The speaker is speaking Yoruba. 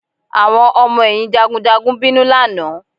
Àwọn ọmọ ẹ̀yìn jagunjagun bínú lánàá